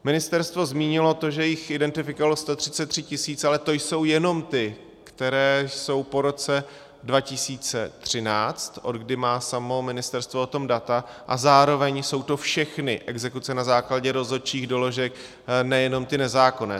Ministerstvo zmínilo to, že jich identifikovalo 133 tisíc, ale to jsou jenom ty, které jsou po roce 2013, odkdy má samo ministerstvo o tom data, a zároveň jsou to všechny exekuce na základě rozhodčích doložek, nejenom ty nezákonné.